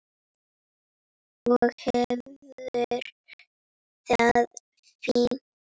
Og hefur það fínt.